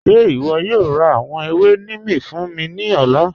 Ṣe ìwọ yóò rá àwọn èwè Nímì fún mi ni ọ̀lá?